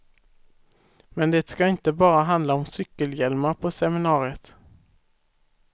Men det ska inte bara handla om cykelhjälmar på seminariet.